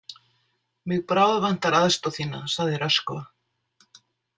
Mig bráðvantar aðstoð þína, sagði Röskva.